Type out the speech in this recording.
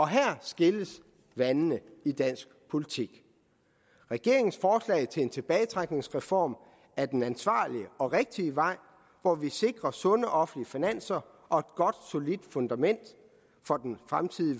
her skilles vandene i dansk politik regeringens forslag til en tilbagetrækningsreform er den ansvarlige og rigtige vej hvor vi sikrer sunde offentlige finanser og et godt solidt fundament for den fremtidige